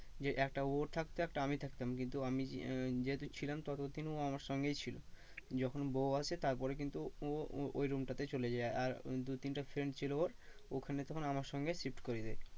যে একটা ও থাকতো একটা আমি থাকতাম কিন্তু আমি আহ যেহেতু ছিলাম তত দিন ও আমার সঙ্গেই ছিল। যখন বউ আসে তারপরে কিন্তু ও ও room টাতে চলে যায় আর দু তিনটে friend ছিল ওর ওখানে তখন সঙ্গে shift করিয়ে দেয়।